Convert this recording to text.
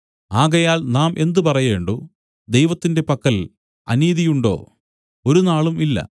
ആകയാൽ നാം എന്ത് പറയേണ്ടു ദൈവത്തിന്റെ പക്കൽ അനീതി ഉണ്ടോ ഒരുനാളും ഇല്ല